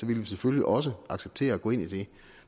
ville vi selvfølgelig også acceptere at gå ind i det